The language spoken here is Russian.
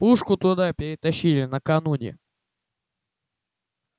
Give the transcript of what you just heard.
пушку туда перетащили накануне